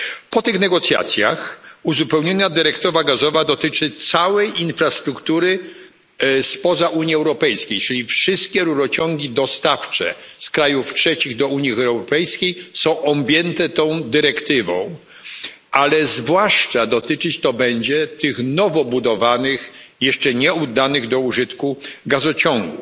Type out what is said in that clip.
Po tych negocjacjach uzupełniona dyrektywa gazowa dotyczy całej infrastruktury spoza Unii Europejskiej, czyli wszystkich rurociągów dostawczych z krajów trzecich do Unii Europejskiej, ale zwłaszcza dotyczyć to będzie tych nowo budowanych i jeszcze nieoddanych do użytku gazociągów.